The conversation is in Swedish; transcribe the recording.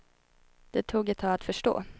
Det tog ett tag att förstå.